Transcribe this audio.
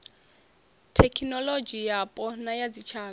thekinolodzhi yapo na ya dzitshaka